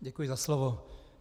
Děkuji za slovo.